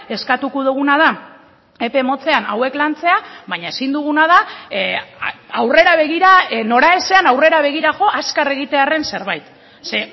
eskatuko duguna da epe motzean hauek lantzea baina ezin duguna da aurrera begira noraezean aurrera begira jo azkar egitearren zerbait ze